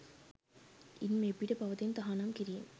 ඉන් මෙපිට පවතින තහනම් කිරීම්